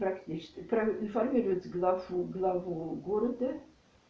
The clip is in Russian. как правильно формировать главу главу города